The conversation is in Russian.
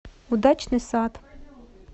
удачный сад